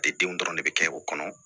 denw dɔrɔn de bɛ kɛ o kɔnɔ